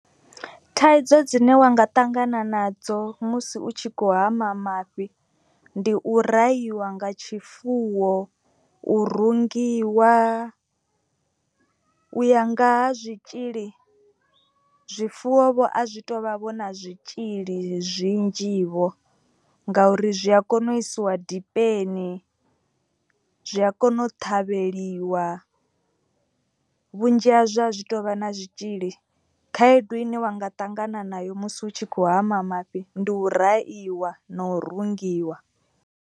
Thaidzo dzine wa nga ṱangana nadzo musi u tshi khou hama mafhi ndi u rahiwa nga tshifuwo. U rungiwa u ya nga ha zwitzhili zwifuwo vho a zwi to vha vho na zwitzhili zwinzhi vho. Ngauri zwi a kona u isiwa dipeni zwi a kona u ṱhavheliwa vhunzhi ha zwo a zwi tovha na zwitzhili. Khaedu ine wa nga ṱangana nayo musi u tshi khou hama mafhi ndi u rahiwa na u rungiwa.